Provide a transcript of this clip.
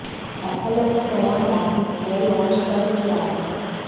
Apple ने अपना नया मैकबुक एयर लॉन्च कर किया है